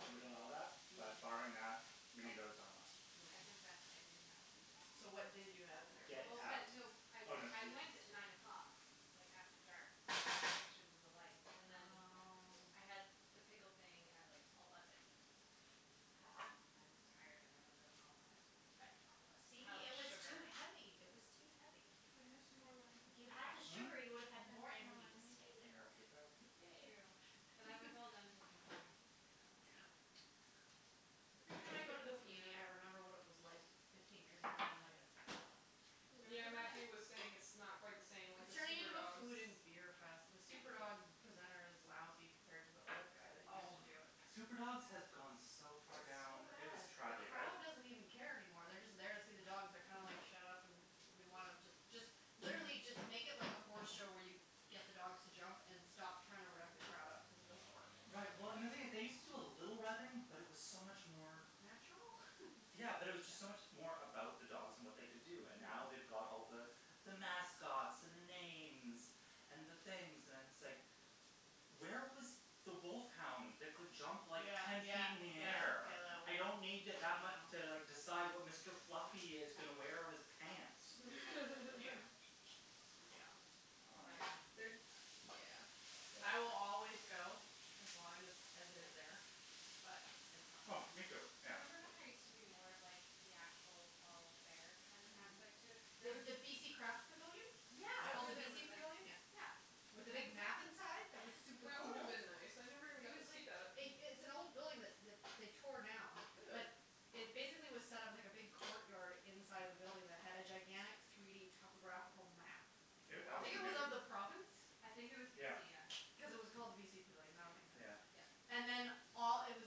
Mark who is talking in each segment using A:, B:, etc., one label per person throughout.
A: I would allow that, but barring
B: Mm.
A: that, mini donuts are a must.
C: I
B: Mm.
C: confess, I didn't have any donuts.
B: So what did you have in their
A: Get
B: place?
C: Well,
A: out.
C: but no I I went at nine o'clock like after dark to take pictures of the lights and then.
B: Oh.
C: I had the pickle thing at like eleven and I was like I'm tired and I want to go home and I don't want to eat a whole
B: See,
C: pile of
B: it was too
C: sugar.
B: heavy, it was too heavy.
D: Can
C: It was
D: I have
C: good,
D: some more wine?
B: If you had the
C: though.
A: Hm?
B: sugar, you would
D: Can I
B: have had
D: have some more
B: more energy to
D: wine,
B: stay
D: babe?
B: there.
A: That's your cup.
C: True,
D: Babe
C: but I was all done taking pictures and was like I'm just
B: Yeah.
C: gonna go.
B: Every time I go to the PNE, I remember what it was like fifteen years ago and then I get sad.
C: Do you
D: Yeah,
C: remember that?
D: Matthew was saying it's not quite the same, like the
B: It's turning
D: super
B: into a
D: dogs.
B: food and beer fest. The super dog presenter is lousy compared to the old guy that used to
A: Oh.
B: do it.
A: Super dogs has gone so far
B: It's so
A: down, it was
B: bad. The
A: tragic.
B: crowd doesn't even care anymore. They're just there to see the dogs. They're kind of like shut up and we want them just just literally just make it like a horse show where you get the dogs to jump and stop trying to rev the crowd up cuz it doesn't work.
A: Right, well, and the thing is they used to do a little revving, but it was so much more.
B: Natural?
A: Yeah, but it was just so much more about the dogs and what they could do, and now they've
B: Mm.
A: got all the the mascots and the names and the things and it's like where was the wolf hound that could jump like
B: Yeah,
A: ten
B: yeah,
A: feet up in the
B: yeah,
A: air.
B: yeah that one. I
A: I
B: know.
A: don't need to like decide what Mr. Fluffy is going to wear on his pants.
C: Glad I missed the super dogs this year.
A: Yeah.
B: I will always go as long as as it is there. But it's not
A: Oh, me too.
B: there.
A: Yeah.
C: Remember when there used to be more of like the actual fall fair kind of aspect to it?
B: Mhm. The the BC Craft Pavilion? It's
A: Yeah.
B: called the
C: Yeah
B: BC Pavilion? Yeah.
C: Yeah.
B: With the big map
C: Exactly.
B: inside that was super
D: That would have
B: cool?
D: been nice. I never even
C: It
D: got to
C: was like
D: see that.
B: It it's an old building that that they tore down.
D: Really?
B: That it basically was set up like a big court yard inside of the building that had a gigantic three d topographical map. it of the province?
C: I think it was
A: Yeah.
C: BC, yeah.
B: Because it was called the BC Pavilion. That would make sense.
A: Yeah.
C: Yeah.
B: And then all it was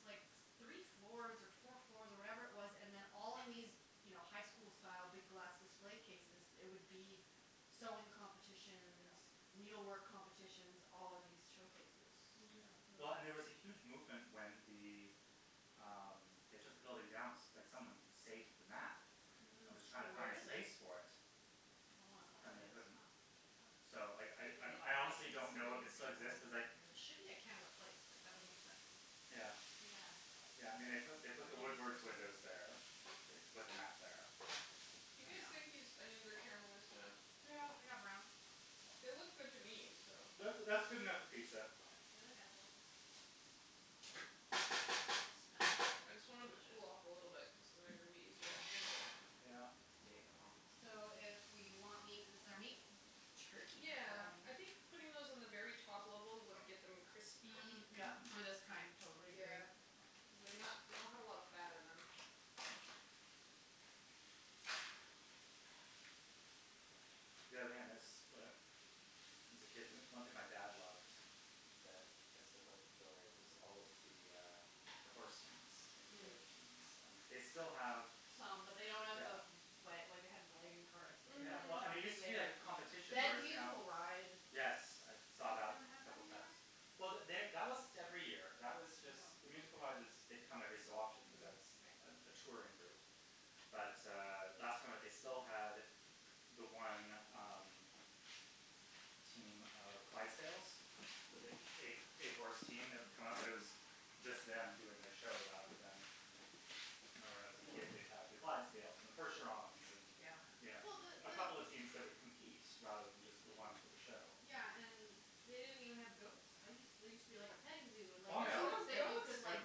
B: like three floors or four floors or whatever it was and then all in these, you know, high school style big glass display cases there would be sewing competitions.
A: Yeah.
B: Needle work competitions all in these showcases.
A: Yeah.
C: Mhm.
A: Well, and there was a huge movement when the um they took the building down that someone saved the map. That
B: Mhm.
A: was
B: So
A: trying to
B: where
A: find
B: is it?
A: space for it.
B: I wanna know where
A: And
B: that
A: they
B: is.
A: couldn't.
C: Huh.
A: So I I I honestly don't know if it still exists cuz like
B: It should be at Canada Place, like, that would make sense.
A: Yeah.
C: Yeah.
A: Yeah, I mean, they put the Woodward's windows there. I think they put the map there.
D: You
A: Yeah.
D: guys
B: Yeah.
D: think these onions are caramelized enough?
B: Yeah, they got brown.
D: They look good to me, so.
A: That's that's good enough for pizza.
C: They look edible.
B: Smells very
D: I just want them to
B: delicious.
D: cool off a little bit cuz then they're going to be easier to handle them.
A: Yeah.
D: Getting them out.
B: So if we want meat, this is our meat? Turkey
D: Yeah.
B: pepperoni?
A: Yeah.
D: I think putting those on the very top level would get them crispy.
B: Mm,
A: Yeah.
B: yeah, for this kind, totally agree.
D: Yeah, because they not they don't have a lot of fat in them.
A: Yeah. The only thing I miss as a kid, one thing my dad loved that I still quite enjoy was all of the uh the horse teams, at the fair,
B: Mm.
A: teams. And they still have
B: Some, but they don't have
A: Yeah.
B: the Wa- like they had wagon carts that
A: Yeah, well, I mean, it used
D: Mhm.
A: to be like a
B: had.
A: competition
B: They had the
A: whereas now
B: musical ride.
A: Yes, I
C: Oh
A: saw
C: they
A: that
C: don't have
A: a
C: that
A: couple
C: anymore?
A: times. Well, they that wasn't every year. That was just the
C: Oh.
A: musical ride was they come every so often cuz
D: Mm.
A: that's
C: Mhm, right.
A: a touring group. But uh last time that they still had the one um team of Clydesdales, the big eight eight horse team that would come up, but it was just them doing their show rather than I remember when I was a kid, they'd have the Clydesdales and the percherons and,
C: Yeah.
A: you
B: Yeah.
A: know.
B: Well, the
A: A couple of teams that would compete rather than just the one for the
C: Mm.
A: show.
B: Yeah, and they didn't even have goats. I used there used to be like a petting zoo and like
A: Oh,
D: There's
A: yeah.
B: goats
D: no
B: that you
D: goats?
B: could
A: Like
B: like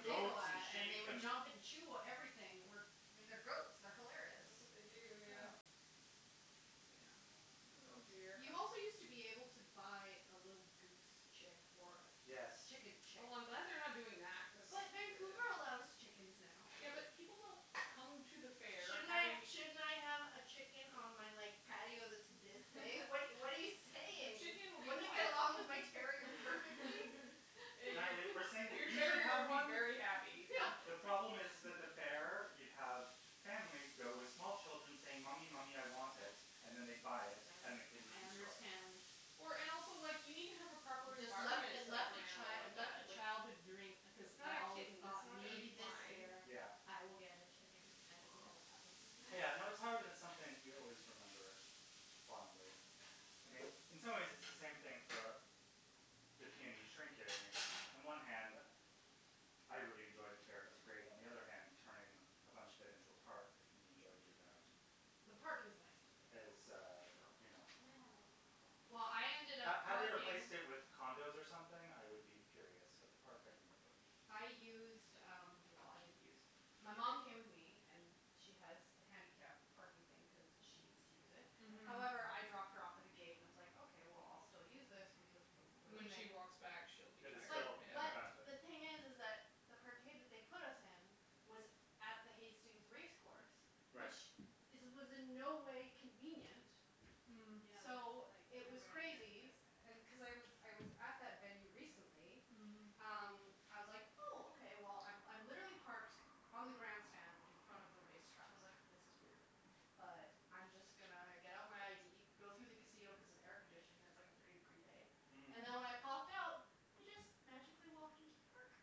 B: giggle
A: goats, and
B: at and they
A: sheep,
B: would
A: and
B: jump and chew everything. I mean, they're goats, they're hilarious.
D: That's what they do,
A: Yeah.
D: yeah.
B: But, yeah,
A: Yeah.
B: no
D: Oh
B: goats.
D: dear.
A: Yeah.
B: You also used to be able to buy a little goose chick. Or a
A: Yes.
B: chicken chick.
D: Oh, I'm glad they're not doing that cuz
B: But Vancouver allows chickens now.
D: Yeah, but people don't come to the fair
B: Shouldn't I
D: having
B: shouldn't I have a chicken on my like patio that's this big? What what are you what are
D: But
B: you saying?
D: chicken would
B: Wouldn't
D: not
B: it get along with my terrier perfectly?
A: Natalie, we're saying
D: Your
A: that
D: your
A: you should
D: terrier
A: have
D: would be
A: one.
D: very happy.
A: The problem is is that the fair you'd have families go with small children saying, "Mommy, mommy, I want it," and then they'd buy it, then the kid would
B: I
A: destroy it.
B: understand.
D: Or and also like, you need to have a proper
B: Just left
D: environment
B: it
D: set up for
B: left
D: an
B: a
D: animal
B: chi- it
D: like
B: left
D: that,
B: a
D: like
B: childhood dream because
D: It's not
B: I
D: a
B: always
D: kitten, it's
B: thought
D: not gonna
B: maybe
D: be
B: this
D: fine.
B: year
A: Yeah.
B: I will get a chicken and it never happened.
A: Yeah, no, it's hard when it's something you always remember fondly. I mean, in some ways it's the same thing for a the PNE On one hand I really enjoyed the fair, it was great. On the other hand, turning a bunch of it into a park that can be enjoyed year round.
B: The park is nice that they built.
A: Is uh, you know
C: Can I have my pizza?
B: Well, I ended
A: Had
B: up
A: had they
B: parking
A: replaced it with condos or something, I would be furious, but the park I can live with.
B: I used um, well, I didn't use My mom came with me and she has the handicap parking thing cuz she needs to use it.
D: Mhm.
B: However, I dropped her off at the gate and I was like, okay, well, I'll still use this because when we're
D: When she
B: leaving.
D: walks back she'll be
A: It is
D: tired
A: still in her
B: But
A: benefit.
B: the thing is is that the parkade that they put us in was at the Hastings race course.
A: Right.
B: Which is was in no way convenient.
D: Mm.
C: Mm, yeah, that's
B: So
C: like
B: it was
C: nowhere near the
B: crazy.
C: best
B: And cuz I
C: effort.
B: was I was at that venue recently
D: Mhm.
B: um, I was like, "Oh, okay." Well, I I'm literally parked on the grandstand in front of the race track. I was like, this is weird, but I'm just gonna get out my ID, go through the casino cuz it's air conditioning, it's like a thirty degree day.
A: Mhm.
B: And then when I popped out, I just magically walked into the park.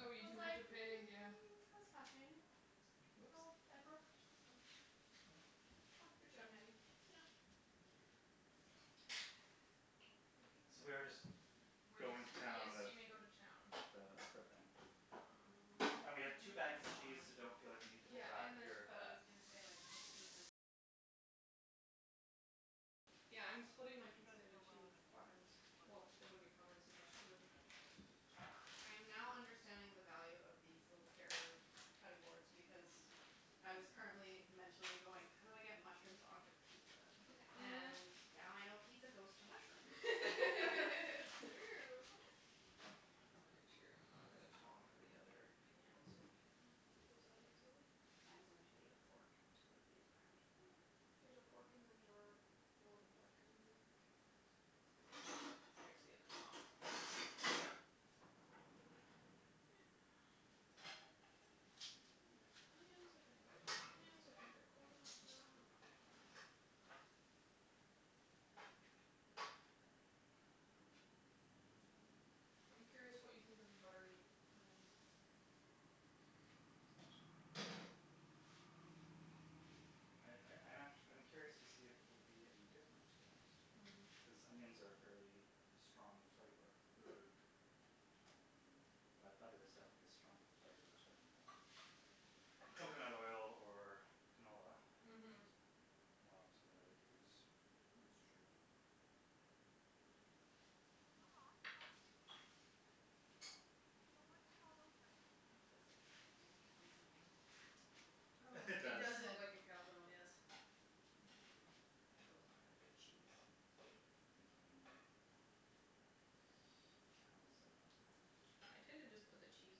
D: Oh,
B: I
D: you
B: was
D: didn't have
B: like
D: to pay, yeah.
B: mm, that was fascinating. So,
D: Whoops.
B: I broke their system.
D: Yes.
B: It was fun.
D: Good job, Natty.
B: Yeah.
A: So we are just
B: We're
A: going to
B: just
A: town
D: Yes,
A: on the
D: you may go to town.
B: Mm. I
A: And we
B: dunno
A: have two
B: what
A: bags of
B: I
A: cheese, so
B: want.
A: don't feel like you need to
D: Yeah,
A: hold back
D: and
A: if
D: there's
A: you're
D: feta. Yeah, I'm splitting my pizza into two quadrants. Well, they wouldn't be quadrants if there's two.
B: I am now understanding the value of these little carrier cutting boards because I was currently mentally going how do I get mushrooms onto pizza? And now I know pizza goes to mushrooms.
D: It's true. It's very true. I'll get the tong for the other pan so we can get those out easily.
B: I am going to need a fork to move these around.
D: There's a fork in the drawer below the black cutting board here.
B: Okay. There's the other tong.
D: And there's onions if anybody wants onions. I think they're cold enough now. I'm curious what you think of the buttery onions, Matthew.
A: I I I'm actu- I'm curious to see if it will be any different, to be honest.
D: Mhm.
A: Cuz onions are a fairly strong flavor.
D: Mm.
A: Um, but butter is definitely a stronger flavor than coconut oil or canola. Which
D: Mhm.
A: is more often what I would use.
D: That''s true.
C: This looks like it's gonna be a calzone.
B: Oh
A: It
B: like
D: It
A: does.
B: you
D: does look
B: said
D: like a calzone, yes.
B: Put those on after cheese.
A: Mmm. Calzone.
D: I tend to just put the cheese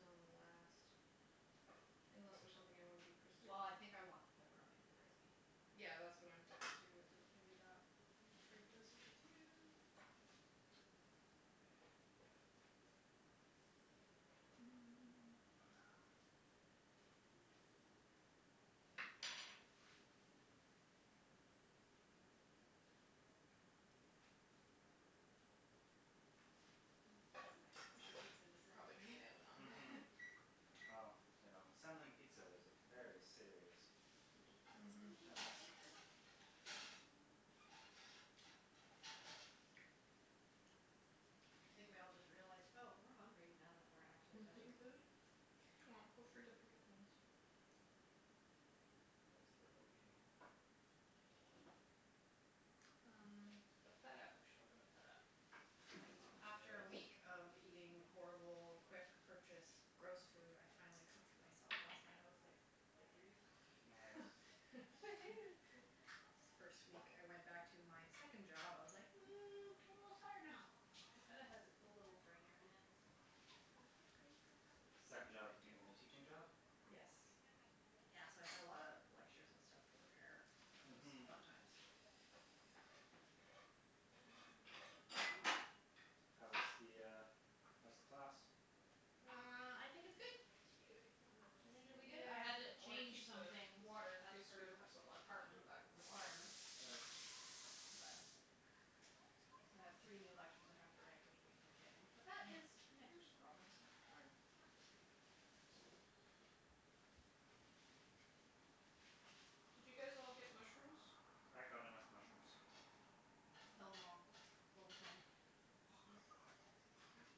D: on last. Unless there's something I wanna be crispy.
B: Well, I think I want the pepperoni to be crispy.
D: Yeah, that's what I'm thinking, too, is that maybe that I will trade places with you.
C: The silence
D: We
C: of
D: should
C: pizza
D: probably turn
C: assembly.
D: the oven on now.
A: Mhm. Yeah, well, you know, assembling pizza is a very serious
D: Mhm.
A: task.
B: Thank you. I think we all just realized, "Oh, we're hungry now that we're actually touching food."
D: Well, feel free to pick up things.
A: Yes, there will be.
D: Um, the feta We should open the feta.
B: Wow. After a week
A: Yes.
B: of eating horrible quick purchased gross food, I finally cooked for myself last night. I was like victory.
A: Nice.
C: Woohoo.
B: It's the first week I went back to my second job. I was like, "Mm, I'm a little tired now."
D: The feta has a cool little drainer in it, so
B: Do I want green pepper?
A: The
B: I
A: second job
B: dunno
A: being the teaching job?
B: what Yes.
A: Yes.
B: Yeah, so I had a lot of lectures and stuff to prepare. That was
A: Mhm.
B: fun times.
A: How's the uh how's the class?
D: There we go.
C: Well, I think it's good. I think it'll be good. Cute, it came with a little strainer?
B: I
D: Yeah,
B: had to
D: I want to
B: change
D: keep the
B: some things
D: water. In
B: of
D: case we do
B: her
D: have some left we can put it
B: department
D: back in the water.
B: requirements.
A: Right.
B: But so I have three new lectures I have to write, which will be entertaining, but that is next week's problems.
A: All right.
B: Not this week.
D: Did you guys all get mushrooms?
A: I got enough mushrooms.
D: Mkay.
B: Kill them all, is what we're saying.
A: Oh my god.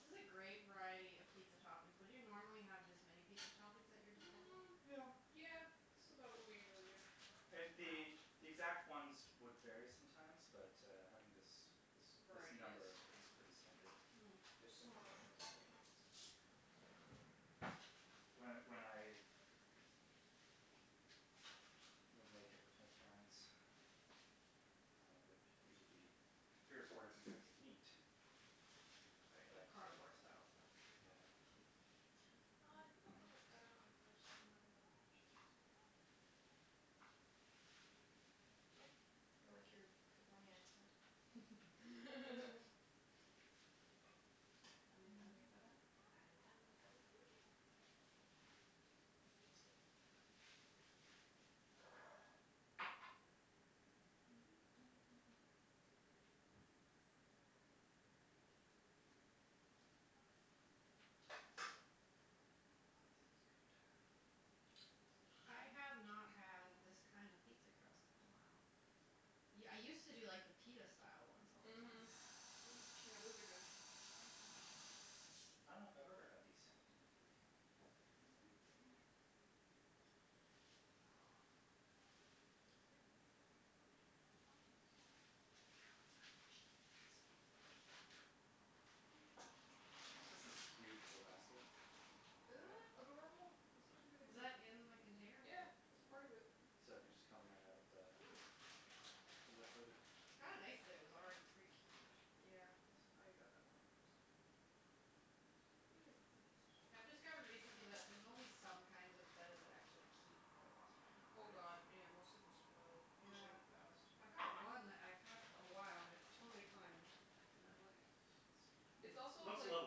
B: This is a great variety of pizza toppings. Would you normally have this many pizza toppings at your disposal?
D: Mm,
A: Yeah.
D: yeah. This is about what we usually do.
A: And the
B: Wow.
A: the exact ones would vary sometimes but, uh, having this
D: This
A: this
D: variety
A: number
D: is
A: is pretty standard.
B: Mm.
D: There's some more mushrooms
A: Um
D: if anyone wants extra.
A: When when I would make it with my parents, uh, there'd usually be three or four different types of meat.
B: Oh, yeah, that
A: But, uh
B: carnivore style stuff.
A: Yeah.
B: Cheese? Cheese?
D: Uh, I think I'll put the feta on it first and then the other cheese.
B: K, we'll get out of the way.
D: I like your pepperoni accent. Have you done your feta?
C: I have done the feta.
D: Okay.
A: This is good.
B: I have not had this kind of pizza crust in a while. Yeah, I used to do like the pita style ones all the time.
D: Mhm. Yeah, those are good.
A: I dunno if I've ever had these.
B: Okay, just
A: Oh, this is cute the little basket with the
D: Isn't
A: feta.
D: that adorable? It's such a good
B: Was
D: idea.
B: that in the container with
D: Yeah,
B: the
D: it was part of it.
A: So it can just come right out of the the liquid.
B: Kinda nice that it was already pre-cubed.
D: Yeah, als- I got that one on purpose. We have enough
B: I've
D: things to do.
B: discovered recently that there's only some kinds of feta that actually keep a long time in the
D: Oh,
B: fridge.
D: god, yeah. Most of them spoil
B: Yeah.
D: really fast.
B: I've got one that I've had for a while and it's totally fine. I'm like
D: It's also
A: Looks a
D: like
A: little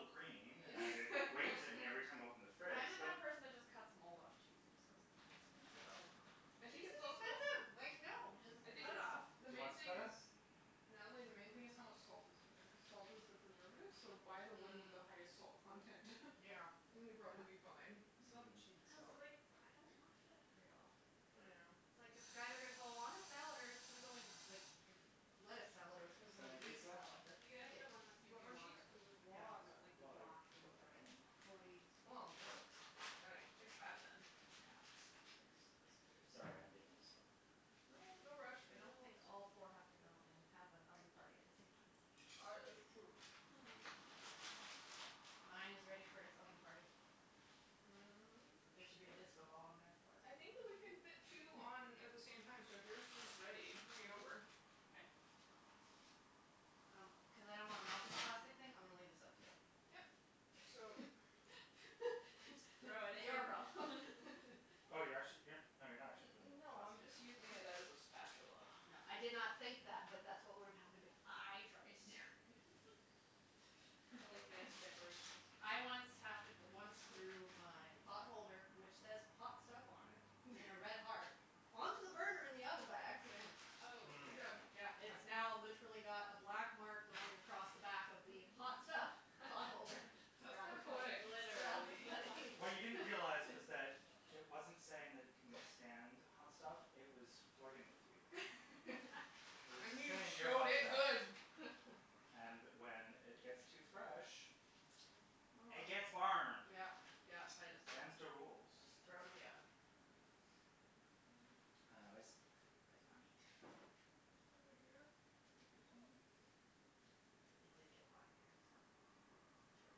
A: green and it
D: it's
A: waves at me every time I open the fridge
B: I'm the
A: but
B: kind of person that just cuts mold off cheese and just goes, "It's fine."
A: Yeah.
D: I think
B: Cheese
D: it's
B: is
D: also
B: expensive, like, no, just
D: I think
B: cut it
D: it's,
B: off.
A: Do
D: the
A: you
D: main
A: want some
D: thing
A: feta?
D: is
B: No.
D: Natalie, the main thing this is how much salt is in there cuz salt is the preservative, so buy the one with
B: Mm.
D: the highest salt content.
B: Yeah. It's
D: And
B: a
D: you'll
B: good
D: probably be
B: point.
D: fine. It's not the cheese
A: Mm.
B: Cuz,
D: itself.
B: like, I don't want feta very often.
D: Yeah.
B: It's like, it's either gonna go on a salad or it's gonna go in like a lettuce salad or it's gonna
A: Is
B: go
A: there
B: in a
A: any
B: Greek
A: cheese left?
B: salad, that's
C: You gotta get
B: it.
C: the one that's
D: Do you
C: in
D: want
C: the
D: more cheese?
C: water,
D: Cuz there's
B: Yeah.
D: lots.
C: where it's like the
A: Well, I
C: block in
A: don't
C: the
A: have
C: brine
A: any.
C: stuff.
B: Fully
D: Well, gotta fix that, then.
A: Yeah, cherries. Sorry, I'm being a little slow.
D: No, no rush, we
B: I
D: have
B: don't think
D: lots.
B: all four have to go in and have an oven party at the same time.
D: Ar- it's true.
B: Mine is ready for its oven party. There should be a disco ball in there for it.
D: I think that we can fit two on at the same time, so if yours is ready, bring it over.
C: Okay.
B: Um, cuz I don't wanna melt this plastic thing, I'm gonna leave this up to you.
D: Yep. So
B: Your problem.
A: Oh, you're actu- you're No, you're not actually putting the
D: No, I'm
A: plastic in,
D: just using
A: okay.
D: it as a spatula.
B: No, I did not think that, but that's what would have happened if I tried to do it.
D: I like to make decorations.
B: I once hap- once threw my pot holder, which says "hot stuff" on it in a red heart, onto the burner in the oven by accident.
D: Good
A: Mm.
D: job.
B: Yeah, it's now literally got a black mark going across the back of the "hot stuff" pot holder.
D: That's kind
B: Rather
D: of
B: funny.
D: poetic.
B: Rather
C: Literally.
B: funny.
A: What you didn't realize was that it wasn't saying that it can withstand hot stuff; it was flirting with you. It was
D: And
A: just
D: you
A: saying you're
D: showed
A: hot
D: it
A: stuff.
D: good.
A: And when it gets too fresh, it gets burned.
B: Yeah, yeah, I just
A: Them's the rules.
B: Just throw in the oven.
A: Uh, where's, where's my meat?
D: It's over here with your sweetie.
B: It did get hot in here, so short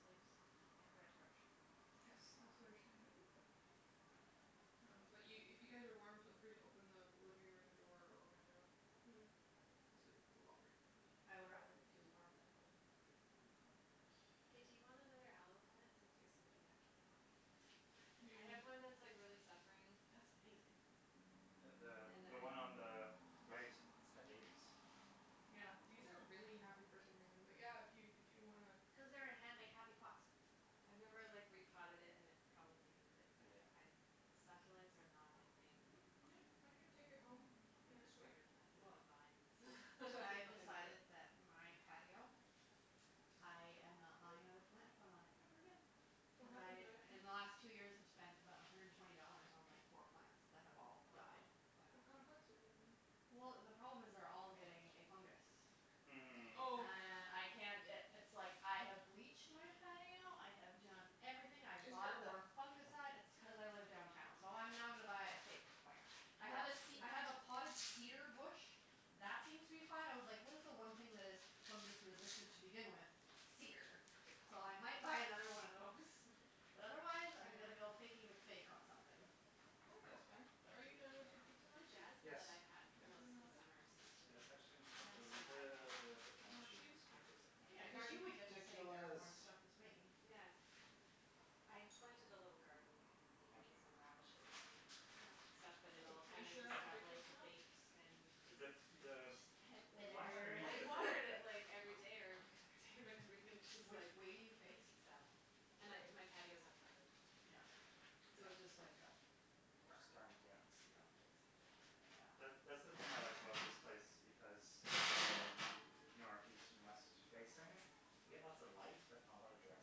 B: sleeves,
C: Yeah.
B: the right approach.
D: Yes,
C: Good call.
D: also you're standing by the window. Um, but you, if you guys are warm, feel free to open the living room door or window cuz it will cool off very quickly in
B: Hm, I would
D: here.
B: rather be too warm than cold.
D: Mhm.
C: Hey, do you want another aloe plant since yours seem to be actually healthy?
D: What do
C: I
D: you need?
C: have one that's, like, really suffering.
B: That's amazing.
A: The the
C: And I
A: the one on the right has had babies.
D: Yeah,
A: In
C: Wow.
D: these are
A: fact.
D: really happy for some reason, but yeah, if you, if you wanna
B: Cuz they're in hand made happy pots.
C: I've never,
D: That's true.
C: like, repotted it and it probably needs it. But
A: Yeah.
C: I, succulents are not my thing.
D: Mm, yeah, I can take it home
C: Give me the
D: next week.
C: spider plants and the vines.
B: I've
C: I'm fine with
B: decided
C: it.
B: that my patio, I am not buying another plant to put on it ever again.
D: What happened
C: Because
D: to it?
B: In the
C: they
B: last two
C: die?
B: years I've spent about a hundred and twenty dollars on like four plants that have all died.
C: Wow.
D: What kind of plants are you putting in there?
B: Well, the problem is they're all getting a fungus.
A: Mm.
C: Oh.
D: Oh.
B: And I can't i- it's, like, I have bleached my patio, I have done everything. I have
D: It's
B: bought the
D: airborne.
B: fungicide. It's t- cuz I live downtown, so I'm now gonna buy a fake plant. I
A: Yeah.
B: have a ce- I have a
C: Hm.
B: potted cedar bush that seems to be fine. I was like what is the one thing that is fungus-resistant to begin with? Cedar.
C: Good
B: So
C: call.
B: I might buy another one of those. But otherwise I'm gonna
D: Yeah.
B: go Fakey McFake on something.
D: I think that's fine. Are you done with your pizza,
C: The
D: Matthew?
C: jasmine that
A: Yes.
C: I've had
D: Can I put
C: most
D: in the
C: of the
D: oven?
C: summer seems to be
A: Yes,
C: not
A: actually,
C: so
A: I'm just gonna put a
C: bad, you
A: little
C: know.
A: bit more
D: More cheese?
A: cheese because I'm
B: Yeah,
A: going
B: cuz
A: to be
B: you would get the same
A: ridiculous.
B: airborne stuff as me.
C: Yeah. I planted a little garden. I had
A: Thank you.
C: beans and radishes and stuff, but
A: I'm
C: it
A: good.
C: all
D: Are you
C: kinda
D: sure
C: just
D: that's
C: got like
D: ridiculous enough?
C: baked and just
A: The, the line
B: Withered.
A: underneath
C: I
A: it is really
C: watered it,
A: thick.
C: like, every day or
D: Okay.
C: every other day, but everything just, like
B: Which way do you face?
C: South. And I, my patio is uncovered.
B: Yeah.
C: So it just like got
A: Just
C: burned.
A: burned, yeah.
C: Yeah,
B: Yeah.
C: basically.
A: Yeah. That,
B: Yeah.
A: that's the thing I like about this place because it's all north, east and west facing. We get lots of light, but not a lot of direct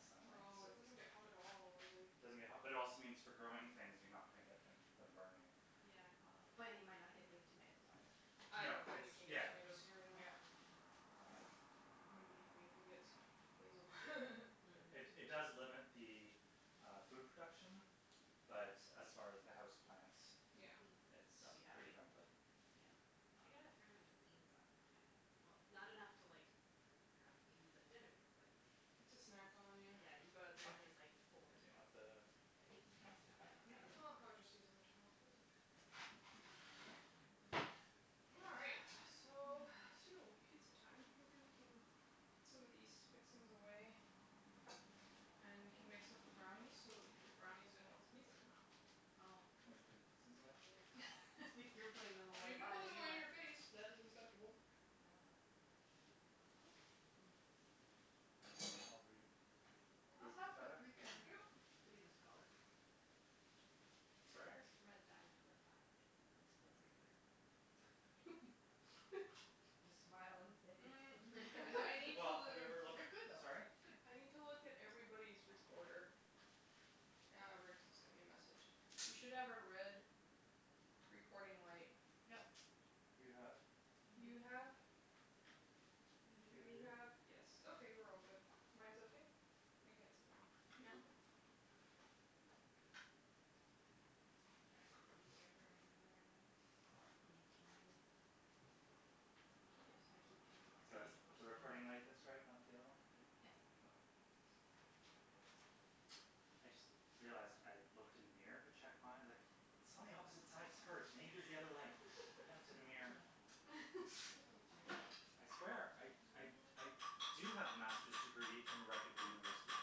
A: sunlight,
D: No,
A: so
D: it
A: it
D: doesn't get hot at all, really.
A: doesn't get hot, but it also means for growing things you're not gonna get them them burning.
C: Yeah.
A: Um
B: But you might not get big tomatoes, either.
D: I
A: No,
D: don't think
A: it's,
D: we can get
A: yeah.
D: tomatoes here anyway.
B: Yeah. Yeah.
A: Um
D: I'm gonna be happy if we get some basil.
A: It, it
B: Hm.
A: does limit the uh food production, but as far as the house plants
D: Yeah.
C: Hm.
A: it's
B: They'll be
A: pretty
B: happy.
A: friendly.
B: Yeah.
A: Um
C: I got a fair amount of beans off mine, I had Well, not enough to like have beans at dinner, but
D: To
C: it
D: snack on,
C: was
D: yeah.
C: Yeah, you go out there and there's, like, four
A: Do you
C: green
A: want the
C: beans, just, like, snap them off and eat
D: Oh,
C: them.
D: I was just using the towel, it's okay. All right. So, soon it will be pizza time. Maybe we can put some of these fixings away and we can mix up the brownies so that we can put the brownies in once the pizzas come out.
B: Oh.
A: Oh, we're putting fixings away?
B: I think you're putting them away,
D: You can
B: buy
D: put
B: a
D: them
B: new
D: away in
B: one.
D: your face. That is acceptable.
C: I will help.
A: Are we
B: It
A: good
B: must
A: with the
B: have
A: feta?
B: paprika in
D: Thank you.
B: it to be this color.
A: Sorry?
C: Or Red Dye Number Five.
B: It's paprika. Just smile and say it's
D: Mm,
B: paprika.
D: I need
A: Well, have you ever
D: to
A: looked,
B: It could though.
A: sorry?
B: It's good.
D: I need to look at everybody's recorder. Ah, Rick sent me a message. You should have a red recording light.
B: Yep.
A: You have.
C: You
D: You
C: do?
D: have
C: You
A: You
D: You
A: do.
C: do?
D: have, yes, okay, we're all good. Mine's okay? I can't see mine.
B: Yeah.
D: Okay.
C: Are
D: All
C: everybody's
D: right.
C: earphones in the right way?
B: Mm, mine. No they just I keep feeling like
A: So
B: I need to
A: it's
B: push
A: the
B: them in more.
A: recording light that's right, not the other one?
B: Yeah.
C: Yes.
A: Okay. I just realized I looked in the mirror to check my, like It's on the opposite side, it's hers, maybe it was the other light. I looked in the mirror.
D: Oh dear.
A: I swear I, I, I do have a master's degree from a reputable university.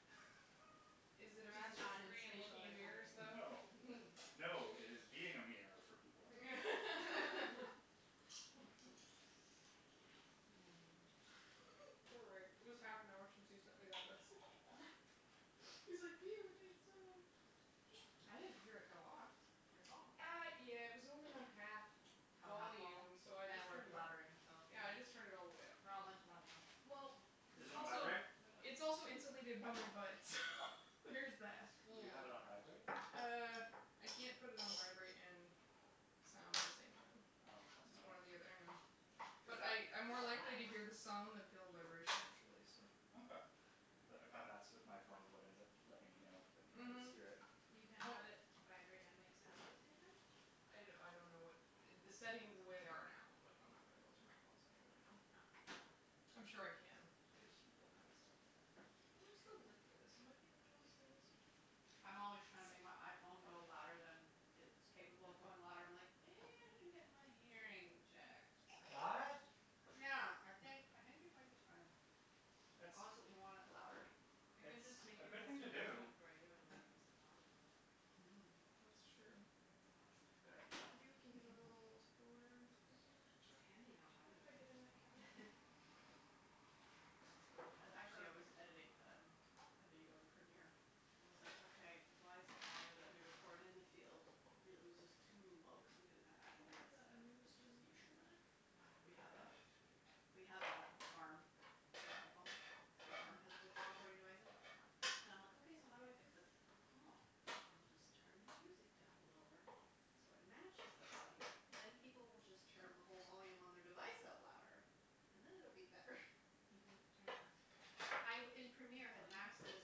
D: Is it a
C: Just
D: master's
C: not in
D: degree in
C: spacial
D: looking in mirrors,
C: engineering.
D: though?
A: No. No, it is being a mirror for people.
D: Poor Rick. It was half an hour since he sent me that message. He's like,
B: I didn't hear it go off, your phone.
D: Uh, yeah, it was only on half
B: Have half vol?
D: volume, so I
B: And
D: just
B: we're
D: turned it up.
B: blabbering, so
D: Yeah, I just turned it all the way up.
B: We're all a bunch of loud mouths. Yep.
D: Well
A: Is
D: It's
A: it on
D: also
A: vibrate?
D: It's also insulated by my butt, so there is that.
A: Do you have it on vibrate?
B: Mm.
D: Uh, I can't put it on vibrate and sound at the same time.
A: Oh, that's
D: It's one
A: annoying.
D: or the othe- I know.
A: Cuz
D: But
A: that
D: I, I'm more likely to hear the sound than feel the vibration, actually, so
A: Okay. Cuz I found that's with my phone what ends up letting me know because I can't always
D: Mhm.
A: hear it.
C: You can't
D: Well
C: have it vibrate and make sound at the same time?
D: I d- I don't know what, the settings the way they are now, but I'm not gonna go through my phone settings right now.
C: Oh.
D: I'm sure I can, I just don't have it set up like that. Where's the lid for this? It might be under those things.
B: I'm always trying to make my iPhone go louder than it's capable of going loud. I'm like, "Maybe I should get my hearing checked,
A: What?
B: perhaps." Yeah. I think I think it might be time. I
A: It's
B: constantly want it louder.
C: I can
A: It's
C: just make
A: a
C: a
A: good
C: test
A: thing to
C: and ring
A: do.
C: tone for you and like increase the volume of it.
D: That's
B: Mm.
D: true.
B: That's a
D: Maybe we can get
B: good
D: a little
B: idea.
D: Tupperware
A: Sure.
C: It's handy
D: Do you
C: knowing
D: mind if I get in that cabinet? Thank you.
B: I, actually I was
D: Perfect.
B: editing um a video in Premiere and I was like, "Okay, why is the audio that we recorded in the field real- " it was just too low cuz we didn't have
D: Can
B: actual
D: you put
B: mikes
D: the
B: set up, it
D: onions
B: was just
D: and
B: using
D: mushroom
B: the
D: in there?
B: We have a, we have a arm for iPhone, so the arm has the recording device in it and I'm like, "Okay, so how do I fix this?" "Oh, I'll just turn the music down lower so it matches the audio, then people will just turn the whole volume on their device up louder and then it'll be better."
C: You can turn the
B: I b- in Premiere, I had maxed it as